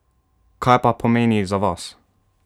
Kaj pa pomeni za vas?